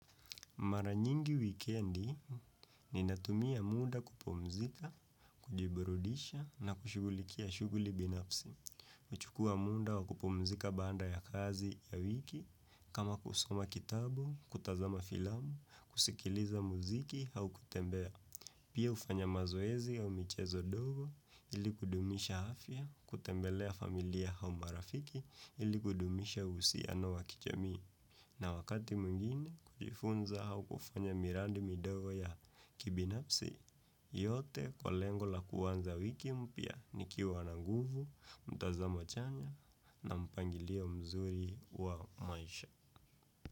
Mara nyingi wikendi, ninatumia muda kupumzika, kujiburudisha na kushughulikia shughuli binafsi. Huchukua muda wa kupumzika baada ya kazi ya wiki, kama kusoma kitabu, kutazama filamu, kusikiliza muziki au kutembea. Pia hufanya mazoezi au michezo ndogo ili kudumisha afya, kutembelea familia au marafiki ili kudumisha uhusiano wa kijamii. Na wakati mwingine kujifunza au kufanya miradi midogo ya kibinafsi yote kwa lengo la kuanza wiki mpya nikiwa na nguvu, mtazamo chanya na mpangilio mzuri wa maisha.